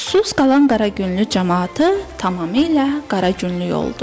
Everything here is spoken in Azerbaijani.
Suss qalan Qaragünlü camaatı tamamilə Qaragünlük oldu.